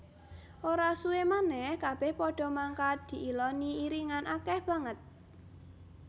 Ora suwé manèh kabèh padha mangkat diiloni iringan akèh banget